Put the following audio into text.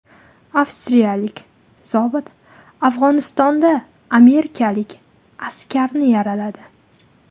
Avstriyalik zobit Afg‘onistonda amerikalik askarni yaraladi.